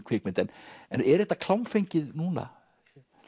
kvikmynd en er þetta klámfengið núna